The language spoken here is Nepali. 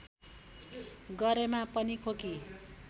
गरेमा पनि खोकी